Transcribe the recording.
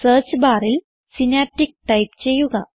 search ബാറിൽ Synaptic type ചെയ്യുക